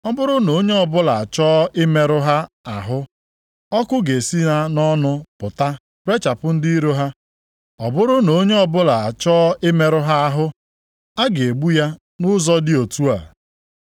Ọ bụrụ na onye ọbụla achọọ imerụ ha ahụ, ọkụ ga-esi ha nʼọnụ pụta rechapụ ndị iro ha. Ọ bụrụ na onye ọbụla achọọ imerụ ha ahụ, a ga-egbu ya nʼụzọ dị otu a.